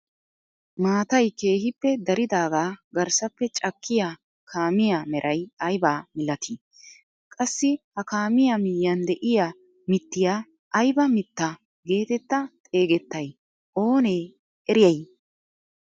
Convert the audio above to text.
Maatay keehippe daridagaa garssappe cakkiyaa kaamiyaa meray aybaa milatii? qssi ha kaamiyaa miyiyaan de'iyaa mittiyaa ayba mitta getetta xegettay oonee eriyay?